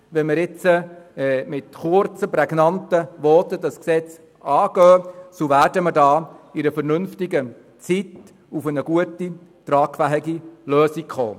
Wenn wir das Gesetz nun mit kurzen, prägnanten Voten angehen, werden wir innerhalb vernünftiger Zeit eine gute, tragfähige Lösung erreichen.